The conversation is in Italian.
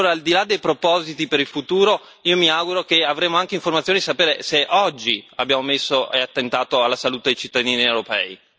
Allora, al di là dei propositi per il futuro, io mi auguro che avremo anche informazioni per sapere se oggi abbiamo attentato alla salute dei cittadini europei.